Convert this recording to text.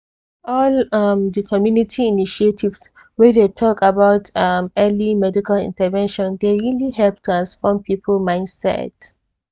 all um di community initiatives wey dey talk about um early medical intervention dey really help transform people mindset.